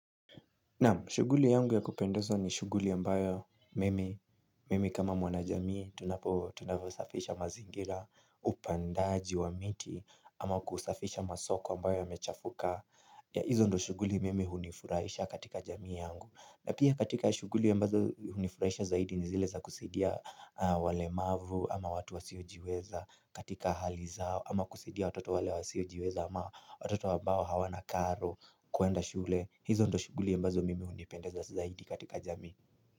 Naam, shughuli yangu ya kupendeza ni shughuli ambayo mimi, mimi kama mwana jamii, tunapo, tunavyosafisha mazingira upandaji wa miti ama kusafisha masoko ambayo yamechafuka. Hizo ndio shughuli mimi hunifurahisha katika jamii yangu. Na pia katika shughuli ambazo hunifuraisha zaidi ni zile za kusaidia walemavu ama watu wasiojiweza katika hali zao ama kusaidia watoto wale wasiojiweza ama watoto ambao hawana karo kwenda shule. Hizo ndio shughuli ambazo mimi hunipenda zaidi katika jamii.